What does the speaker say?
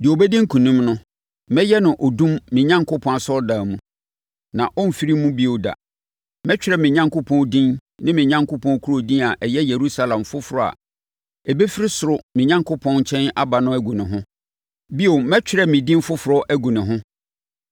Deɛ ɔbɛdi nkonim no, mɛyɛ no odum me Onyankopɔn asɔredan mu, na ɔremfiri mu bio da. Mɛtwerɛ me Onyankopɔn din ne me Onyankopɔn kuro din a ɛyɛ Yerusalem foforɔ a ɛbɛfiri ɔsoro me Onyankopɔn nkyɛn aba no agu ne ho. Bio, mɛtwerɛ me din foforɔ agu ne ho.